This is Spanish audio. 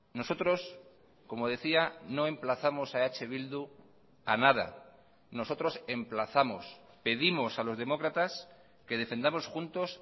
nosotros como decía no emplazamos a eh bildu a nada nosotros emplazamos pedimos a los demócratas que defendamos juntos